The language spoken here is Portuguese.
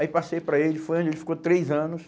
Aí passei para ele, foi onde ele ficou três anos.